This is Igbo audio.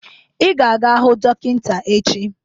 Ị ga-aga hụ dọkịta echi